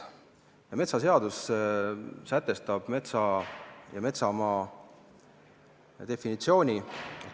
Metsaseadus sätestab metsa ja metsamaa definitsiooni.